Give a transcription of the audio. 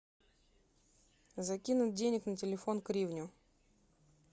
закинуть денег на телефон кривню